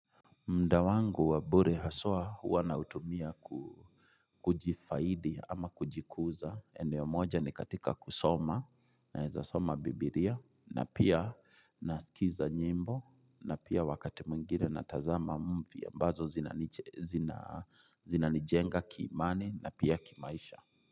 Muda wangu wabure haswa huwa nautumia kujifaidi ama kujikuza. Eneo moja ni katika kusoma naeza soma bibilia na pia nasikiza nyimbo na pia wakati mwingine natazama muvi ya ambazo zinanijenga kiimani na pia kimaisha.